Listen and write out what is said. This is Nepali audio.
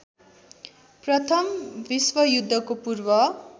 प्रथमा विश्वयुद्धको पूर्व